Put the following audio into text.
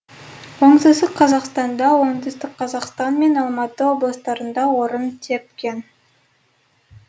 оңтүстік қазақстанда оңтүстік қазақстан мен алматы облыстарында орын тепкен